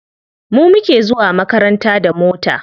Mu muke zuwa makaranta da mota.